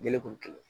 Jɛgɛ kolo kɛlɛ